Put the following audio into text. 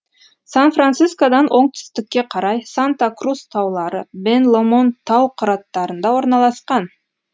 сан францискодан оңтүстікке қарай санта крус таулары бен ломонд тау қыраттарында орналасқан